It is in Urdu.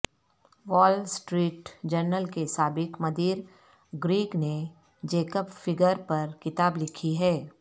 وال سٹریٹ جرنل کے سابق مدیر گریگ نے جیکب فگر پر کتاب لکھی ہے